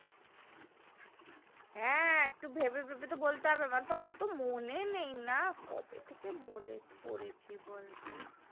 হ্যাঁ একটু ভেবে ভেবে তো বলতে হবে আমার তো অত মনে নাই না কবে থেকে বলেছি পড়েছি বলতো